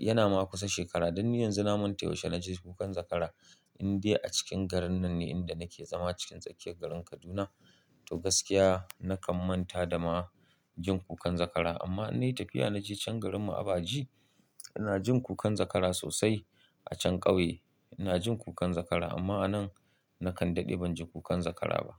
Yana ma kusa shekara, don ni yanzu na manta yaushe na ji kukan zakara. Inde a cikin garin nan ne inda nake zama cikin tsakiyar garin Kaduna. To gaskiya na kan manta da ma jin kukan zakara. Amma in nayi tafiya na je can garinmu Abaji, ina jin kukan zakara sosai. A can ƙauye ina jin kukan zakara amma a nan na kan daɗe ban ji kukan zakara ba.